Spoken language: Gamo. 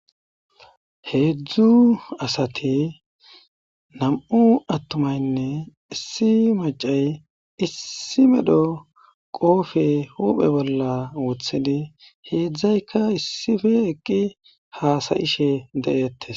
heedzdzu asati nam7u attumaynne issi macay issi medho qoofe huphe bolla wothidi heedzdzayka issife eqqi haasayishe de7eettes